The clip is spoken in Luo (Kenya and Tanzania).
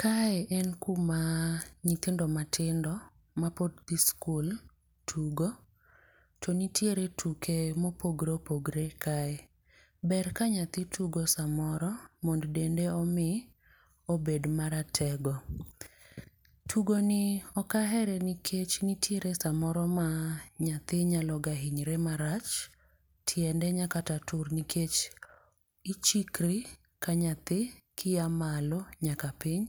Kae en kuma nyithindo matindo mapod dhi skul tugo, to nitiere tuke mopogore opogore kae. Ber ka nyathi tugo samoro mondo dende omi obed maratego. Tugo ni ok ahere nikech nitiere samoro ma nyathi nyaloga hinyore marach. Tiende nyalo kata tur, nikech ichikori kanyathi kiya malo nyaka piny.